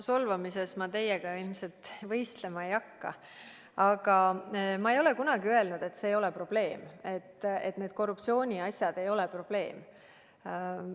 Solvamises ma teiega ilmselt võistlema ei hakka, aga ma ei ole kunagi öelnud, et see ei ole probleem, et need korruptsiooniasjad ei ole probleem.